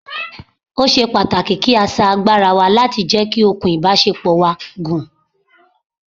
Ó ṣe pàtàkì kí sà agbára wa láti jẹ́ kí okùn ìbásepọ̀ wa gùn